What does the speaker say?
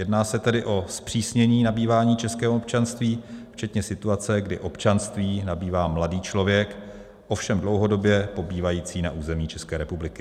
Jedná se tedy o zpřísnění nabývání českého občanství včetně situace, kdy občanství nabývá mladý člověk, ovšem dlouhodobě pobývající na území České republiky.